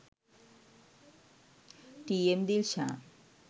t.m. dilshan